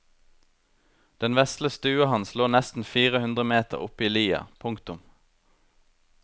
Den vesle stua hans lå nesten fire hundre meter oppe i lia. punktum